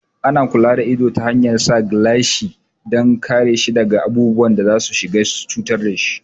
Ana kula da ido ta hanyar sa gilashi dan kare shi daga abubuwan da za su cutar dashi